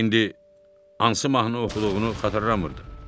İndi hansı mahnı oxuduğunu xatırlamırdı.